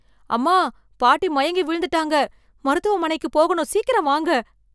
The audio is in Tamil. அம்மா பாட்டி மயங்கி விழுந்துட்டாங்க மருத்துவமனைக்கு போகணும் சீக்கிரம் வாங்க